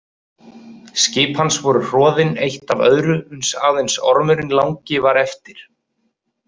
Skip hans voru hroðin eitt af öðru uns aðeins Ormurinn langi var eftir.